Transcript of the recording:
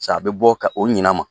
S'a bɛ bɔ ka o ɲina ma.